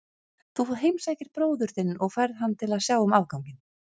Þú heimsækir bróður þinn og færð hann til að sjá um afganginn.